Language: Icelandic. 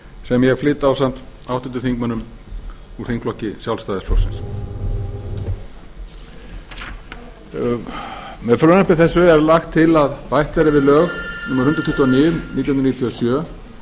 sem ég flyt ásamt háttvirtum úr þingflokki sjálfstæðisflokksins með frumvarpi þessu er lagt til að bætt verði við lög númer hundrað tuttugu og níu nítján hundruð níutíu og sjö